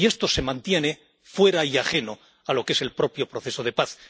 Y esto se mantiene fuera y ajeno a lo que es el propio proceso de paz.